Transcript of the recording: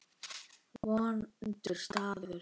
Vondur staður.